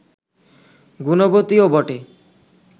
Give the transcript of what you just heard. গুণবতীও বটে